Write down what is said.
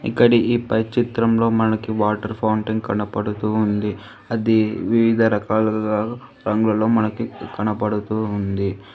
ఇక్కడి ఈ పై చిత్రంలో మనకి వాటర్ ఫౌంటైన్ కనపడుతూ ఉంది అది వివిధ రకాలాల రంగులు మనకి కనపడుతూ ఉంది.